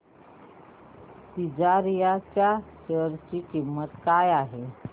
तिजारिया च्या शेअर ची किंमत काय आहे